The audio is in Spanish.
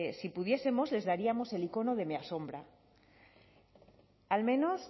si pudiesemos les daríamos el icono de me asombra al menos